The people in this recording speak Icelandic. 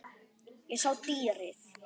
Ég sá dýrið.